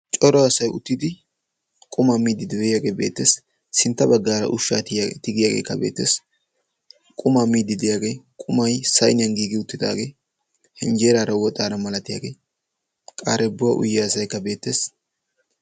Cora asay uttidi qumaa miiddi de'iyagee beettees. Sintta baggaara ushshaa tigiyageekka beettees. Qumaa miiddi diyagee, qumay sayniyan giigiwuttidaagee, injjeeraara woxaara milatiyagee, qaarebbuwa uyiya asaykka beettees.